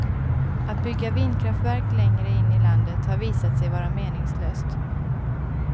Att bygga vindkraftverk längre in i landet har visat sig vara meningslöst.